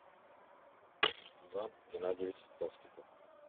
иван геннадьевич толстиков